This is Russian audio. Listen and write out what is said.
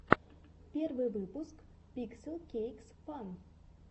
первый выпуск пикселкейксфан